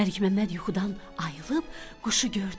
Məlik Məmməd yuxudan ayılıb quşu gördü.